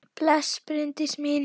Bless, Bryndís mín!